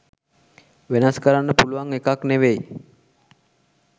වෙනස් කරන්න පුළුවන් එකක් නෙවෙයි.